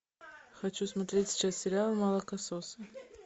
хочу смотреть сейчас сериал молокососы